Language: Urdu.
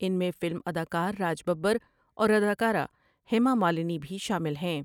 ان میں فلم ادا کا رراج ببر اور اداکارہ ہیمامالنی بھی شامل ہیں ۔